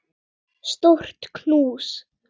Stórt knús.